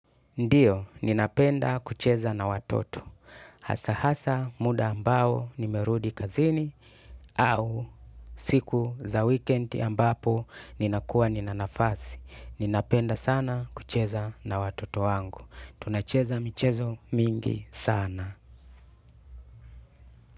Ndiyo, ninapenda kucheza na watoto. Hasa hasa muda ambao nimerudi kazini au siku za wikendi ambapo ninakuwa nina nafasi. Ninapenda sana kucheza na watoto wangu. Tunacheza michezo mingi sana.